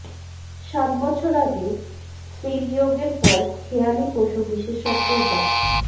সাত বছর আগে স্ত্রীবিয়োগের পর খেয়ালি পশু বিশেষজ্ঞ ডা